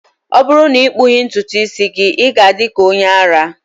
ọ bụrụ na ị kpụghị ntutu isi gị, ị ga-adị ka onye ara